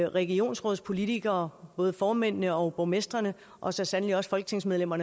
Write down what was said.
og regionsrådspolitikere både formændene og borgmestrene og så sandelig også folketingsmedlemmer